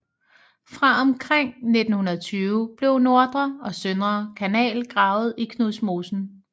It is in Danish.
Fra omkring 1920 blev Nordre og Søndre Kanal gravet i Knudmosen